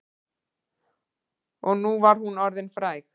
Og nú var hún orðin fræg.